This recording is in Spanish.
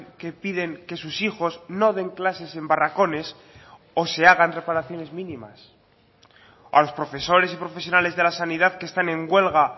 que piden que sus hijos no den clases en barracones o se hagan reparaciones mínimas a los profesores y profesionales de la sanidad que están en huelga